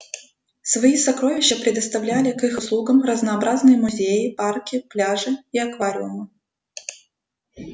свои сокровища предоставляли к их услугам разнообразные музеи парки пляжи и аквариумы